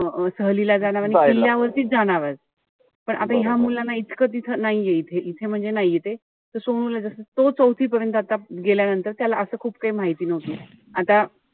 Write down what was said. सहलीला जाणार आणि किल्य्यावरतीच जाणार आहे. पण आता ह्या मुलांना इतकं तिथं नाहीये इथे. इथे म्हणजे नाहीये. त ला जस तो चौथी पर्यंत आता. गेल्यानंतर त्याला असं खूप काई माहिती नव्हतं. आता,